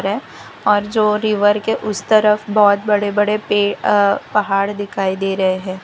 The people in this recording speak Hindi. और जो रिवर के उस तरफ बहोत बड़े बड़े पे अ पहाड़ दिखाई दे रहे है।